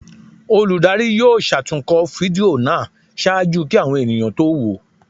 Olùdarí yóò ṣatunkọ fídío náá ṣaaju ki awọn eníyan to wo o